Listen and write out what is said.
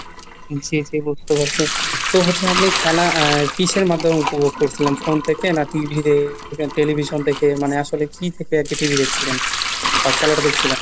জি জি বুঝতে পারছি, তো হচ্ছে আপনি খেলা আহ কিসের মাধ্যমে উপভোগ করছিলেন? phone থেকে না TVতে television থেকে মানে আসলে কি থেকে আর কি TVদেখছিলেন? বা খেলাটা দেখছিলেন?